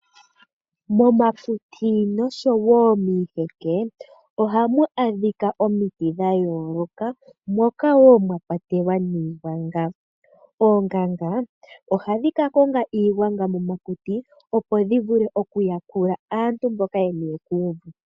Momakuti oshowo miiheke oha mu adhika omiti dha yooloka mokawo mwa kwatelwa niigwanga. Oonganga oha dhi ka konga iigwanga momakuti opo dhi vule okuyakula aantu mboka ye niwe kuuvu.